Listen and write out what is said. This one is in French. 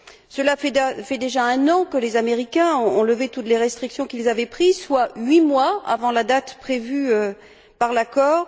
Cela fait déjà un an que les Américains ont levé toutes les restrictions qu'ils avaient prises, soit 8 mois avant la date prévue par l'accord.